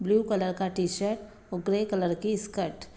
Blue colour का T-shirt और grey की स्कर्ट ।